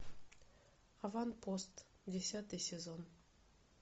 аванпост десятый сезон